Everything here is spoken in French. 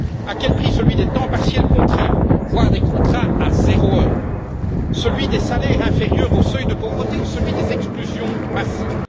À celui des temps partiels contraints, voire des contrats à 0 heure, à celui des salaires inférieurs au seuil de pauvreté ou à celui des exclusions massives?